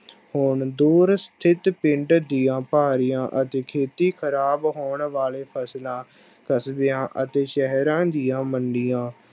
ਹੁਣ ਦੂਰ ਸਥਿੱਤ ਪਿੰਡ ਦੀਆਂ ਭਾਰੀਆਂ ਅਤੇ ਖੇਤੀ ਖ਼ਰਾਬ ਹੋਣ ਵਾਲੇ ਫਸਲਾਂ ਕਸਬਿਆਂ ਅਤੇ ਸ਼ਹਿਰਾਂ ਦੀਆਂ ਮੰਡੀਆਂ